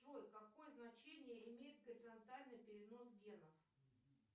джой какое значение имеет горизонтальный перенос генов